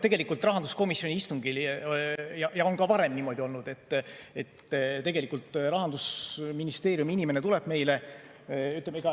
Tegelikult rahanduskomisjoni istungil on ka varem niimoodi olnud, et tegelikult Rahandusministeeriumi inimene tuleb meile.